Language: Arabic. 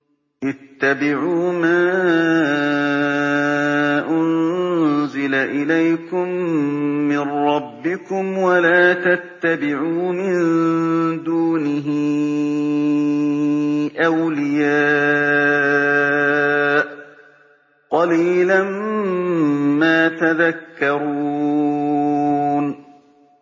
اتَّبِعُوا مَا أُنزِلَ إِلَيْكُم مِّن رَّبِّكُمْ وَلَا تَتَّبِعُوا مِن دُونِهِ أَوْلِيَاءَ ۗ قَلِيلًا مَّا تَذَكَّرُونَ